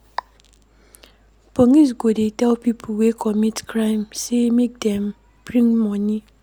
Police go dey tell pipo wey commit crime sey make dem bring moni.